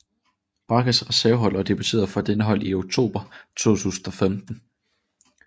Bragas reservehold og debuterede for denne klub i oktober 2015